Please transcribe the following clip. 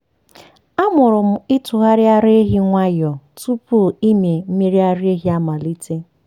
amụrụ m ịtụgharị ara ehi nwayọọ tupu ịmị mmiri ara ehi amalite.